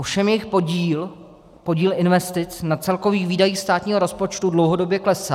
Ovšem jejich podíl, podíl investic na celkových výdajích státního rozpočtu, dlouhodobě klesá.